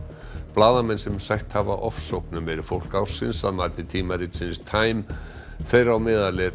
blaðamenn sem sætt hafa ofsóknum eru fólk ársins að mati tímaritsins time þeirra á meðal er